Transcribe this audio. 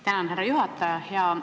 Tänan, härra juhataja!